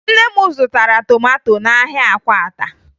Nne m zụtara tomato n'ahịa Akwata